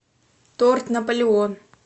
торт наполеон